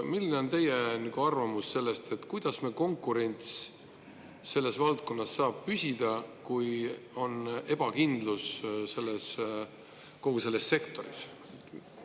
Milline on teie arvamus sellest, et kuidas konkurents selles valdkonnas saab püsida, kui on ebakindlus kogu selles sektoris?